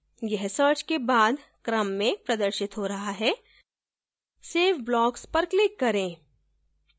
यह search के बाद क्रम में प्रदर्शित हो रहा है save blocks पर click करें